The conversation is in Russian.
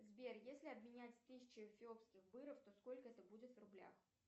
сбер если обменять тысячу эфиопских быров то сколько это будет в рублях